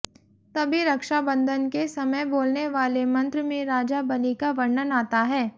तभी रक्षा बंधन के समय बोलने वाले मंत्र में राजा बलि का वर्णन आता है